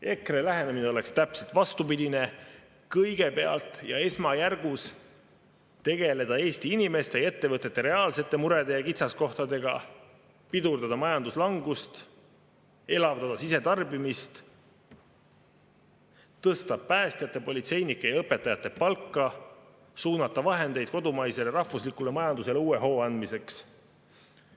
EKRE lähenemine oleks täpselt vastupidine: kõigepealt ja esmajärgus tegeleda Eesti inimeste ja ettevõtete reaalsete murede ja kitsaskohtadega, pidurdada majanduslangust, elavdada sisetarbimist, tõsta päästjate, politseinike ja õpetajate palka, suunata vahendeid kodumaisele rahvuslikule majandusele uue hoo andmiseks.